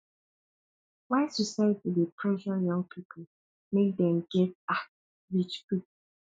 why society dey pressure young people make dem get um rich quick